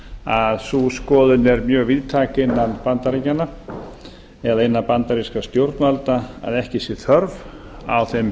að sú skoðun er mjög víðtæk innan bandaríkjanna eða innan bandarískra stjórnvalda að ekki sé þörf á þeim